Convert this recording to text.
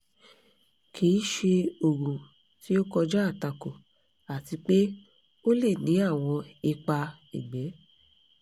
kì í ṣe oògùn tí ó kọjá àtakò àti pé ó lè ní àwọn ipa ẹ̀gbẹ́